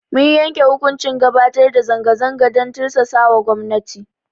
Mun yanke hukuncin gabatar da zanga zanga dan tirsasawa gwamnati.